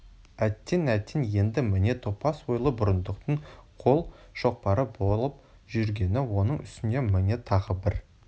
әттең әттең енді міне топас ойлы бұрындықтың қол шоқпары болып жүргені оның үстіне міне тағы бір